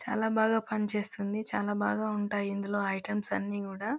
చాల బాగా పనిచేస్తుంది. చాల బాగా ఉంటాయి ఇందులో ఐటమ్స్ అన్ని కూడా--